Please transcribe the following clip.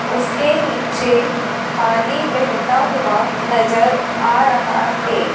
उसके नीचे पानी बहता हुआ नजर आ रहा है।